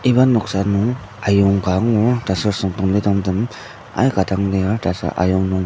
iba noksa nung ayonga ka angur taser sungdonglidongtem aika dang lir taser aying nung tzü.